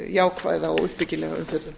jákvæða og uppbyggilega umfjöllun